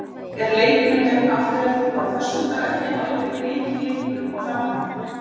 Er leikurinn gegn Aftureldingu á föstudag ekki algjör lykilleikur upp á framhaldið?